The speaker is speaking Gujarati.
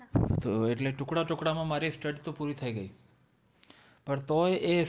તો એટલે ટુકડાં ટુકડાંમાં મારી Study તો પૂરી થઈ ગઈ. પણ તોય એ